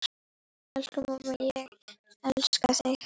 Elsku amma, ég elska þig.